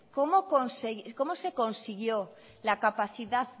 cómo se consiguió la capacidad